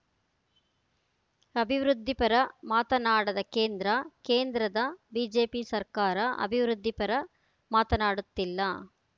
ಅಭಿವೃದ್ಧಿಪರ ಮಾತನಾಡದ ಕೇಂದ್ರ ಕೇಂದ್ರದ ಬಿಜೆಪಿ ಸರ್ಕಾರ ಅಭಿವೃದ್ಧಿ ಪರ ಮಾತನಾಡುತ್ತಿಲ್ಲ